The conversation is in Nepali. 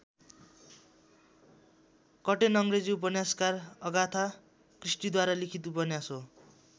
कर्टेन अङ्ग्रेजी उपन्यासकार अगाथा क्रिस्टीद्वारा लिखित उपन्यास हो।